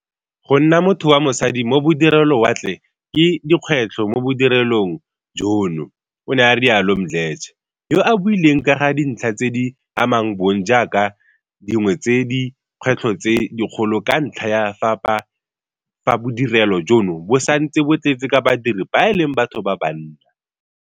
Go nna motho wa mosadi mo bodirelowatle ke dikgwetlho mo bodirelong jono, o ne a rialo Mdletshe, yo a buileng ka ga dintlha tse di amang bong jaaka dingwe tsa di kgwetlho tse dikgolo ka ntlha ya fa bodirelo jono bo santse bo tletse ka badiri ba e leng batho ba banna.